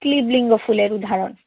ক্লীব লিঙ্গ ফুলের উদাহরণ।